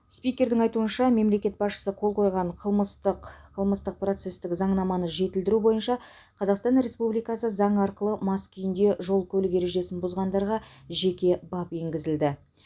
спикердің айтуынша мемлекет басшысы қол қойған қылмыстық қылмыстық процестік заңнаманы жетілдіру бойынша қазасқтан республикасы заңы арқылы мас күйінде жол көлік ережесін бұзғандарға жеке бап енгізілді